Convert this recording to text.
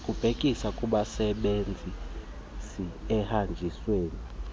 olubhekisa kubasebenzisi ekuhanjisweni